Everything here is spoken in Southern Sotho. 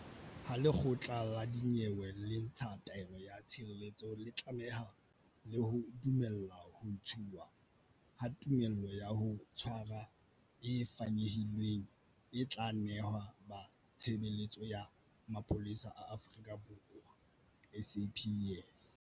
Ha lekgotla la dinyewe le ntsha taelo ya tshireletso le tlameha le ho dumella ho ntshwa ha tumello ya ho tshwara e fanyehilweng, e tla nehwa ba Tshebeletso ya Mapolesa a Afrika Borwa, SAPS.